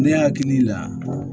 Ne hakili la